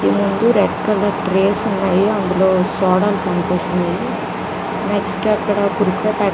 ముందు red colour tray లు ఉన్నాయి అందులో సోడాలు కనిపిస్తున్నాయి అక్కడ కుర్కురే పాకెట్ --